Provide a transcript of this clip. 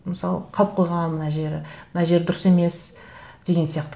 мысалы қалып қойған мына жері мына жері дұрыс емес деген сияқты